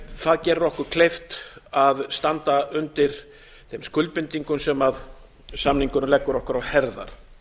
það gerir okkur kleift að standa undir þeim skuldbindingum sem samningurinn leggur okkur á herðar